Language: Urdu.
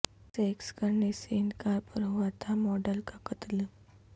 سیکس کرنے سے انکار پر ہوا تھا ماڈل کا قتل